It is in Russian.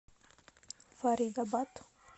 фаридабад